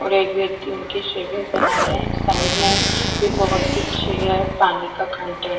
और एक व्यक्ति उनकी शर्ट में पहना रहे है साइड में भी भोत से चेयर पानी का कंटेनर --